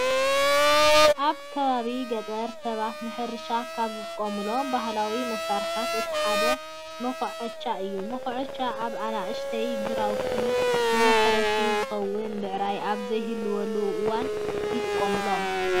ኣብ ከባቢ ገጠር ሰባት ንሕርሻ ካብ ዝጥቀምሎም ባህላዊ መሳርሒታት እቲ ሓደ መኩዓቻ እዩ። መኩዓቻ ኣብ ኣናእሽተይ ግራውትን ንመሕረሲ ዝኸውን ብዕራይ ኣብ ዘይህልየሉ እዋን ይጥቀምሎም።